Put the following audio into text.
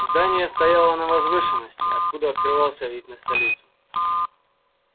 здание стояло на возвышенности откуда открывался вид на столицу